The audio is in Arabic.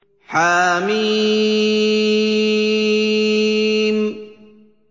حم